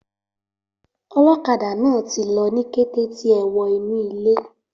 Olókadà náà tí lọ ní kété tí è wo inu ilé